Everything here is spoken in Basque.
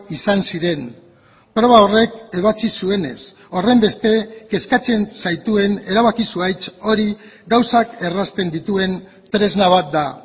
izan ziren proba horrek ebatzi zuenez horrenbeste kezkatzen zaituen erabaki zuhaitz hori gauzak errazten dituen tresna bat da